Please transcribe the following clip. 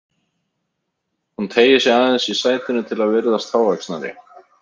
Hún teygir sig aðeins í sætinu til að virðast hávaxnari.